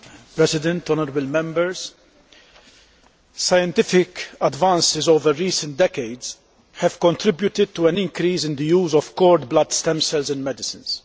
Mr President, honourable Members, scientific advances over recent decades have contributed to an increase in the use of cord blood stem cells in medicines.